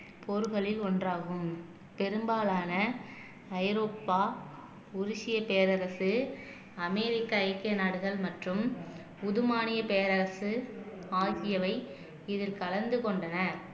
போர்களில் ஒன்றாகும் பெரும்பாலான ஐரோப்பா உருகிய பேரரசு அமெரிக்க ஐக்கிய நாடுகள் மற்றும் புதுமானிய பேரரசு ஆகியவை இதில் கலந்து கொண்டன